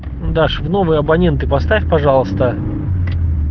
даша в новые абоненты поставь пожалуйста